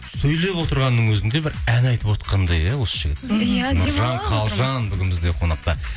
сөйлеп отырғанның өзінде бір ән айтып отқандай иә осы жігіт нұржан қалжан бүгін бізде қонақта